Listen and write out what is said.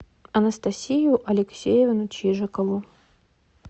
анастасию алексеевну чижикову